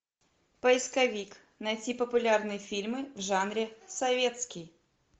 поисковик найти популярные фильмы в жанре советский